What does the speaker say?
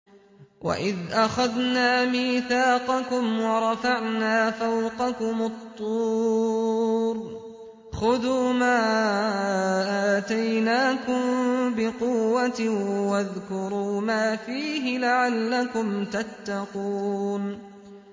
وَإِذْ أَخَذْنَا مِيثَاقَكُمْ وَرَفَعْنَا فَوْقَكُمُ الطُّورَ خُذُوا مَا آتَيْنَاكُم بِقُوَّةٍ وَاذْكُرُوا مَا فِيهِ لَعَلَّكُمْ تَتَّقُونَ